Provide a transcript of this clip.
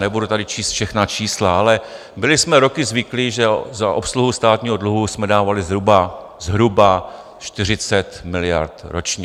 Nebudu tady číst všechna čísla, ale byli jsme roky zvyklí, že za obsluhu státního dluhu jsme dávali zhruba 40 miliard ročně.